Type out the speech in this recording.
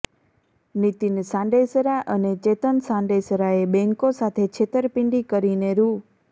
નીતિન સાંડેસરા અને ચેતન સાંડેસરાએ બેંકો સાથે છેતરપિંડી કરીને રૂ